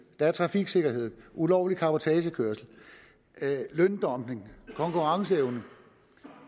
der er trafiksikkerheden ulovlig cabotagekørsel løndumping konkurrenceevne